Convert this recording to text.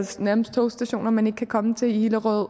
nærmest togstationer man ikke kan komme til i hillerød